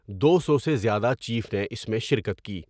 دو سو سے زیادہ چیف نے اس میں شرکت کی ۔